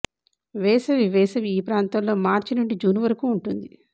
వేసవి వేసవి ఈ ప్రాంతంలో మార్చి నుండి జూన్ వరకు ఉంటుంది